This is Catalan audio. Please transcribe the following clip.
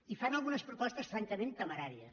i fan algunes propostes francament temeràries